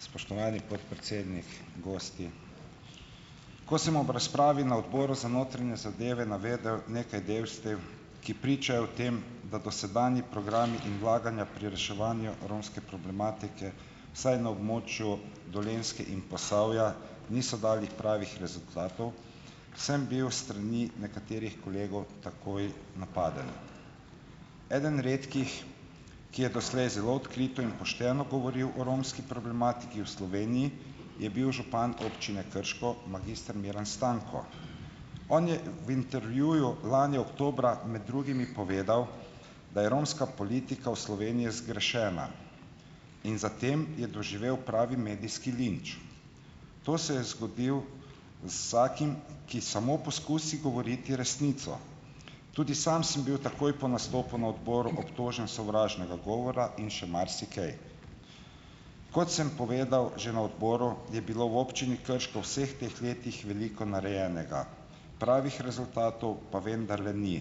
Spoštovani podpredsednik, gosti! Ko sem ob razpravi na odboru za notranje zadeve navedel nekaj dejstev, ki pričajo o tem, da dosedanji programi in vlaganja pri reševanju romske problematike, vsaj na območju Dolenjske in Posavja, niso dali pravih rezultatov, sem bil s strani nekaterih kolegov takoj napaden. Eden redkih, ki je doslej zelo odkrito in pošteno govoril o romski problematiki v Sloveniji, je bil župan občine Krško, magister Miran Stanko. On je v intervjuju lani oktobra med drugimi povedal, da je romska politika v Sloveniji zgrešena in zatem je doživel pravi medijski linč. To se je zgodilo z vsakim, ki samo poskusi govoriti resnico. Tudi sam sem bil takoj po nastopu na odboru obtožen sovražnega govora in še marsikaj. Kot sem povedal že na odboru, je bilo v občini Krško v vseh teh letih veliko narejenega, pravih rezultatov pa vendarle ni,